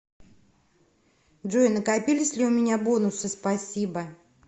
джой накопились ли у меня бонусы спасибо